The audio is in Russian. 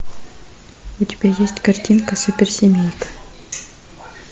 у тебя есть картинка суперсемейка